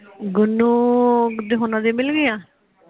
ਗੁੰਨੂੰ ਹੋਣਾ ਦੀਆ ਮਿਲਗੀਆ?